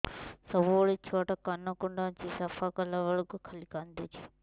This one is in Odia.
ସବୁବେଳେ ଛୁଆ ଟା କାନ କୁଣ୍ଡଉଚି ସଫା କଲା ବେଳକୁ ଖାଲି କାନ୍ଦୁଚି